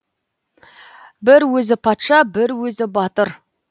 бір өзі патша бір өзі батыр